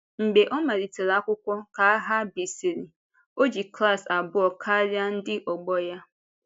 Mgbe ọ malitèrè akwụkwọ ka aghà bìsịrị, ọ jì klas abụọ karịa ndị ọgbọ ya.